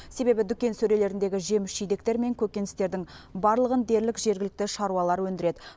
себебі дүкен сөрелеріндегі жеміс жидектер мен көкөністердің барлығын дерлік жергілікті шаруалар өндіреді